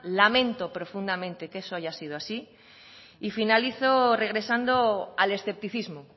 lamento profundamente que eso haya sido así y finalizo regresando al escepticismo